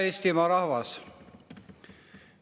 Hea Eestimaa rahvas!